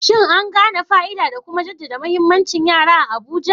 Shin an gane fa'ida da kuma jaddada muhimmancin yara a Abuja?